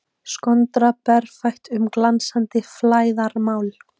Skondra berfætt um glansandi flæðarmál.